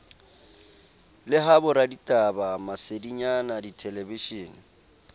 le ha boraditaba masedinyana dithelebishene